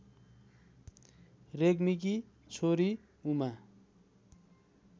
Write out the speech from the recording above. रेग्मीकी छोरी उमा